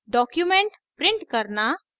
document print करना